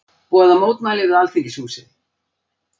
Boða mótmæli við Alþingishúsið